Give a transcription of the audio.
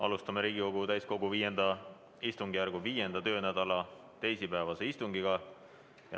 Alustame Riigikogu täiskogu V istungjärgu 5. töönädala teisipäevast istungit.